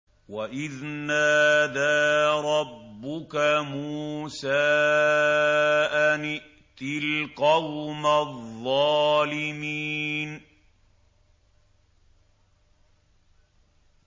وَإِذْ نَادَىٰ رَبُّكَ مُوسَىٰ أَنِ ائْتِ الْقَوْمَ الظَّالِمِينَ